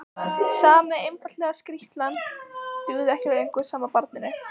Sami einfalda skrýtlan dugði ekki lengur sama barninu.